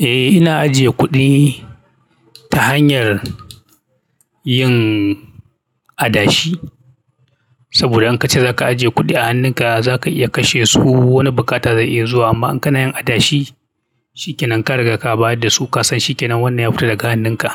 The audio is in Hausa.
Eh, ina ajiye kuɗi ta hanyar yin adashi. Saboda in ka ce za ka ajiye kuɗi a hannunka, za ka iya kashe su wani bukatar da zai iya zuwa. Amma in kana yin adashi, shikenan ka riga ka baya da su, ka san shikenan wannan ya fita daga hannunka